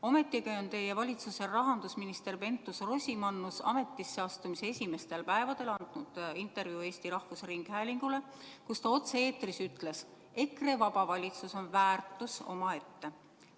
Ometi on teie valitsuse rahandusminister Keit Pentus-Rosimannus ametisse astumise esimestel päevadel andnud intervjuu Eesti Rahvusringhäälingule ja otse-eetris öelnud, et EKRE-vaba valitsus on väärtus omaette.